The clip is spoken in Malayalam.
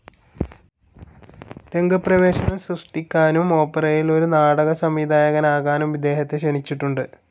രംഗപ്രവേശം സൃഷ്ടിക്കാനും ഒപ്പേറയിൽ ഒരു നാടക സംവിധായകനാകാനും ഇദ്ദേഹത്തെ ക്ഷണിച്ചിട്ടുണ്ട്.